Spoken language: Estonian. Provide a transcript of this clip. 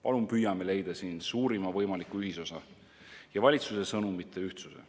Palun püüame leida siin suurima võimaliku ühisosa ja saavutada valitsuse sõnumite ühtsuse.